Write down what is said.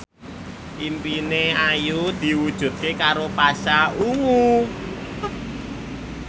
impine Ayu diwujudke karo Pasha Ungu